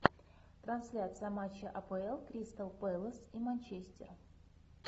трансляция матча апл кристал пэлас и манчестер